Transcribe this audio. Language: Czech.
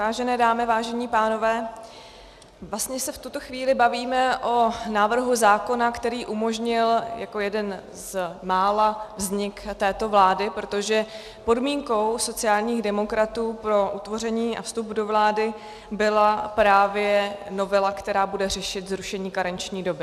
Vážené dámy, vážení pánové, vlastně se v tuto chvíli bavíme o návrhu zákona, který umožnil jako jeden z mála vznik této vlády, protože podmínkou sociálních demokratů pro utvoření a vstup do vlády byla právě novela, která bude řešit zrušení karenční doby.